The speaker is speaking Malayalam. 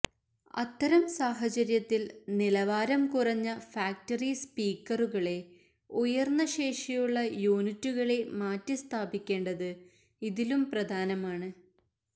അത്തരം സാഹചര്യത്തിൽ നിലവാരം കുറഞ്ഞ ഫാക്ടറി സ്പീക്കറുകളെ ഉയർന്ന ശേഷിയുള്ള യൂണിറ്റുകളെ മാറ്റിസ്ഥാപിക്കേണ്ടത് ഇതിലും പ്രധാനമാണ്